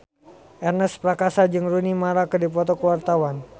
Ernest Prakasa jeung Rooney Mara keur dipoto ku wartawan